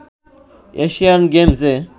Asian গেমসে